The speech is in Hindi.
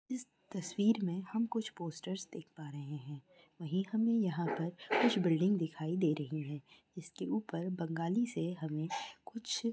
इस तस्वीर में हम कुछ पोस्टर्स देख पा रहे हैं वही हमें यहां पर कुछ बिल्डिंग दिखाई दे रही है। इसके ऊपर बंगाली से हमें कुछ --